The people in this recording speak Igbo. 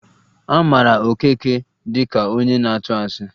A mara Okeke dị ka onye na-atụ asị